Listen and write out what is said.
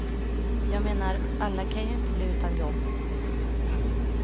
Jag menar, alla kan ju inte bli utan jobb.